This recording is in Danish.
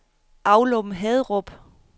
Aulum-Haderup